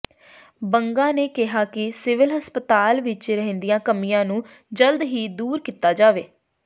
ਬੰਗਾ ਨੇ ਕਿਹਾ ਕਿ ਸਿਵਲ ਹਸਪਤਾਲ ਵਿੱਚ ਰਹਿੰਦੀਆਂ ਕਮੀਆਂ ਨੂੰ ਜਲਦ ਹੀ ਦੂਰ ਕੀਤਾ ਜਾਵੇ